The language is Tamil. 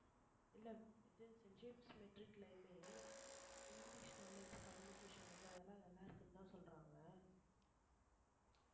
இல்ல இது செயின்ட் ஜேம்ஸ் matric லயுமே இங்கிலிஷ் knowledge communication இது அதெல்லாம் நல்லா இருக்குன்னுதான் சொல்றாங்க